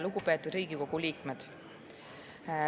Lugupeetud Riigikogu liikmed!